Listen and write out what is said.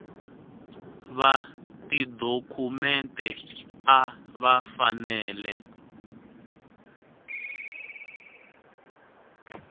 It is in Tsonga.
va tidokhumente a va fanele